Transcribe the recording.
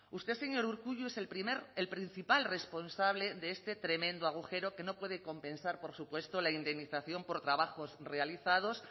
usted señor urkullu es el primer el principal responsable de este tremendo agujero que no puede compensar por supuesto la indemnización por trabajos realizados